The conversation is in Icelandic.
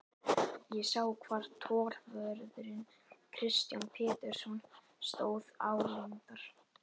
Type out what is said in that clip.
Ég sá hvar tollvörðurinn Kristján Pétursson stóð álengdar.